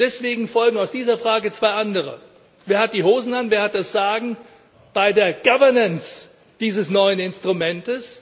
Deswegen folgen aus dieser Frage zwei andere Wer hat die Hosen an, wer hat das Sagen bei der Governance dieses neuen Instruments?